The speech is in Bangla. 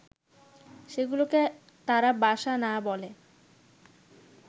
সেগুলোকে তারা বাসা না বলে